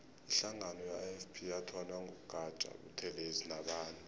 ihlangano ye ifp yathonywa ngu gaja buthelezi nabanye